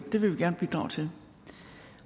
det vil vi gerne bidrage til